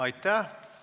Aitäh!